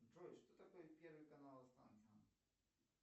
джой что такое первый канал останкино